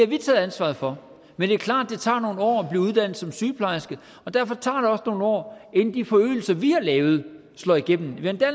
vi taget ansvaret for men det er klart at det tager nogle år at blive uddannet som sygeplejerske og derfor tager det også nogle år inden de forøgelser vi har lavet slår igennem vi har endda